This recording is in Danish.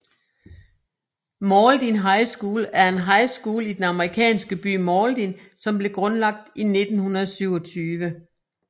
Mauldin High School er en high school i den amerikanske by Mauldin som blev grundlagt i 1927